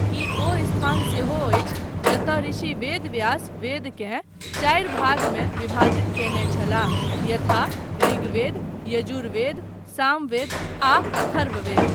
ई ओ स्थान सेहो अछि जतय ऋषि वेदव्यास वेदकेँ चार भागमे विभाजित कयने छलाह यथा ऋग्वेद, यजुर्वेद, सामवेद आ अथर्ववेद।